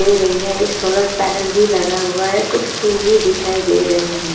दे रही हैं एक सोलर पैनल भी लगा हुआ हैं कुछ फूल भी दिखाई दे रही हैं।